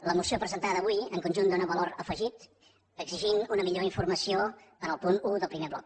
la moció presentada avui en conjunt dóna valor afegit en exigir una millor informació en el punt un del primer bloc